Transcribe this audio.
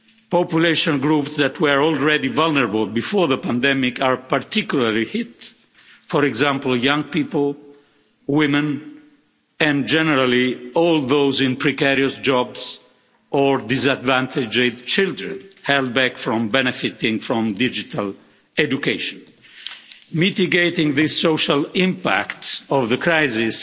Population groups that were already vulnerable before the pandemic are particularly hit, for example young people, women, and generally all those in precarious jobs, or disadvantaged children held back from benefiting from digital education. Mitigating the social impacts of the crisis